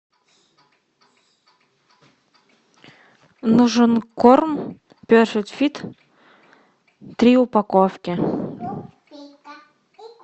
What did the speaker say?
нужен корм перфект фит три упаковки